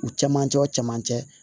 U cɛmancɛ o cɛmancɛ